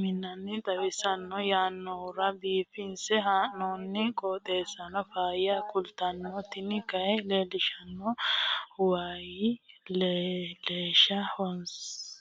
maa xawissanno yaannohura biifinse haa'noonniti qooxeessano faayya kultanno tini kayi leellishshannori wayi latishsha loonsoonniha masso assinanni hee'noonni